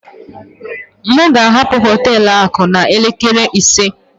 M ga-ahapụ họtelu akụ a n'elekere ise